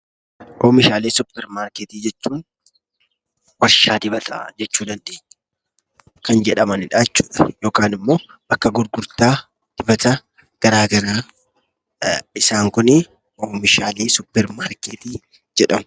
Oomishaalee suparmarkeetii jechuun warshaa dibataa jechuu dandeenya kan jedhamanidhaa jechuudha yookanimmoo bakka gurgurtaa dibata garaa garaa isaan kunii oomishaalee suuparmarkeetii jedhamu.